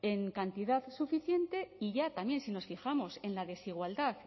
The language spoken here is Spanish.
en cantidad suficiente y ya también si nos fijamos en la desigualdad